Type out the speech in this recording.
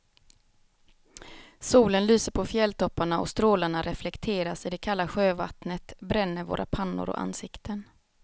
Solen lyser på fjälltopparna och strålarna reflekteras i det kalla sjövattnet, bränner våra pannor och ansikten.